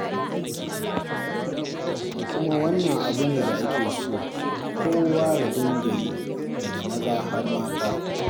Kuma wannan abu ne da ake so kowa ya dinga yi, daga maza har mata.